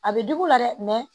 A bɛ digi u la dɛ